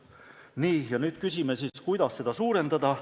Nii, ja nüüd küsime siis, kuidas seda suurendada.